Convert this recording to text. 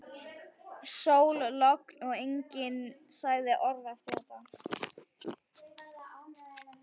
Sól, logn og enginn sagði orð eftir þetta.